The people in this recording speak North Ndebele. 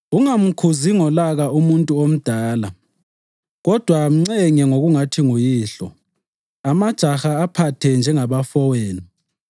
Ungamkhuzi ngolaka umuntu omdala kodwa mncenge ngokungathi nguyihlo. Amajaha aphathe njengabafowenu,